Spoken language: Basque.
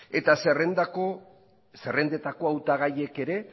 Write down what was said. eta zerrendetako hautagaiek ere